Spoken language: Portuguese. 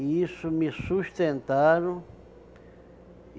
E isso me sustentaram.